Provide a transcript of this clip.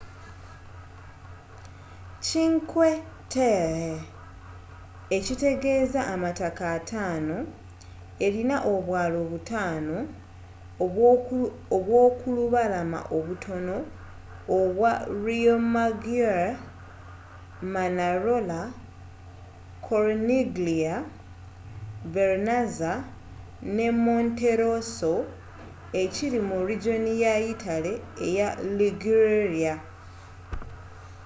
cinque terre ekitegeeza amataka ataano elina obwaalo butaano obw'okulubalama obutono obwa riomaggiore manarola corniglia vernazza ne monterosso ekiri mu rigoni ya yitale eya liguria